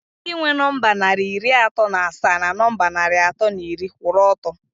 Ndị nwe nọmba narị iri atọ na asaa na nọmba narị atọ na iri kwụrụ ọtọ